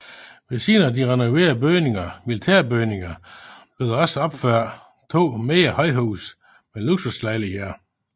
Ved siden af de renoverede militærbygninger blev der også opført to mindre højhuse med luksuslejligheder